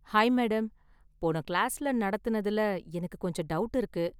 Hi madam, போன கிளாஸ்ல நடத்துனதுல எனக்கு கொஞ்சம் டவுட் இருக்கு.